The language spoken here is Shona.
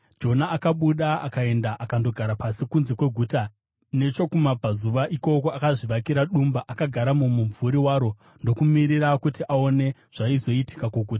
Jona akabuda akaenda akandogara pasi kunze kweguta nechokumabvazuva. Ikoko akazvivakira dumba, akagara mumumvuri waro ndokumirira kuti aone zvaizoitika kuguta.